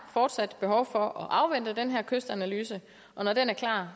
fortsat behov for at afvente den her kystanalyse og når den er klar